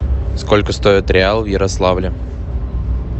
сколько стоит реал в ярославле